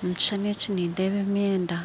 Omu kishushani eki nindeeba emyenda